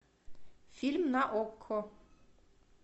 фильм на окко